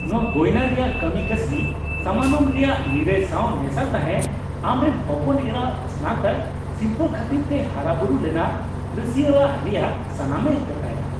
ᱱᱚᱶᱟ ᱜᱚᱭᱱᱟ ᱨᱮᱭᱟᱜ ᱠᱟᱹᱢᱤ ᱠᱟᱹᱥᱱᱤ, ᱥᱟᱢᱟᱱᱚᱢ ᱨᱮᱭᱟᱜ ᱱᱤᱨᱟᱹᱭ ᱥᱟᱶ ᱢᱮᱥᱟᱜ ᱛᱟᱦᱮᱸ, ᱟᱢ ᱨᱮᱱ ᱦᱚᱯᱚᱱ ᱮᱨᱟᱣᱟᱜ ᱥᱱᱟᱛᱚᱠ ᱥᱤᱨᱯᱟᱹ ᱠᱷᱟᱹᱛᱤᱨ ᱛᱮ ᱦᱟᱨᱟᱵᱩᱨᱩ ᱞᱮᱱᱟ ᱨᱟ ᱥᱟᱹᱨᱤᱭᱟᱜ ᱨᱮᱭᱟᱜ ᱥᱟᱱᱟᱢᱮ ᱜᱚᱴᱟᱭᱟ ᱾